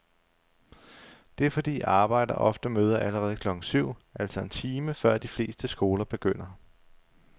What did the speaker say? Det er fordi arbejdere ofte møder allerede klokken syv, altså en time før de fleste skoler begynder.